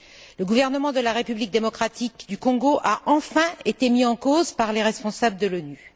Le gouvernement de la République démocratique du Congo a enfin été mis en cause par les responsables de l'ONU.